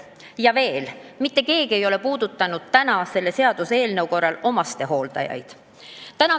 Ja veel, mitte keegi ei ole puudutanud täna omastehooldajate teemat.